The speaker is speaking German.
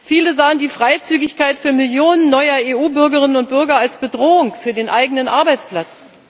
Viele sahen die Freizügigkeit für Millionen neuer EU Bürgerinnen und Bürger als Bedrohung für den eigenen Arbeitsplatz.